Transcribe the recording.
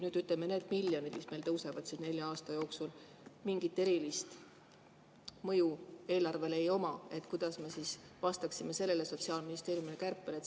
Kui, ütleme, need miljonid, mis meil tõusevad siin nelja aasta jooksul, mingit erilist mõju eelarvele ei oma, siis kuidas me vastaksime sellele Sotsiaalministeeriumi kärpele?